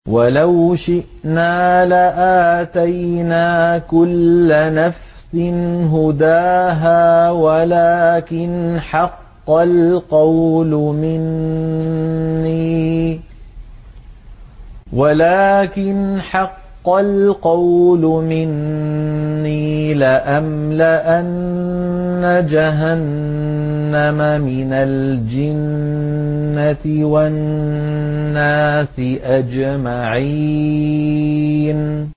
وَلَوْ شِئْنَا لَآتَيْنَا كُلَّ نَفْسٍ هُدَاهَا وَلَٰكِنْ حَقَّ الْقَوْلُ مِنِّي لَأَمْلَأَنَّ جَهَنَّمَ مِنَ الْجِنَّةِ وَالنَّاسِ أَجْمَعِينَ